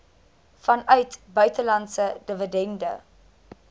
vanuit buitelandse dividende